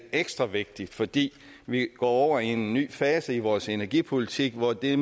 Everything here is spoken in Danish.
ekstra vigtigt fordi vi går over i en ny fase i vores energipolitik hvor det i